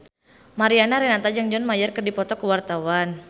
Mariana Renata jeung John Mayer keur dipoto ku wartawan